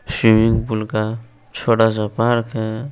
Swimming pool का छोटा सा पार्क है।